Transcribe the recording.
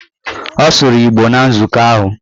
Ọ sụrụ Igbo na nzukọ ahụ.